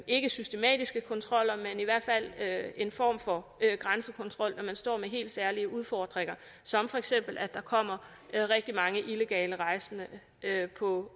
ikke systematiske kontroller men i hvert fald en form for grænsekontrol når man står med helt særlige udfordringer som feks at der kommer rigtig mange illegale rejsende på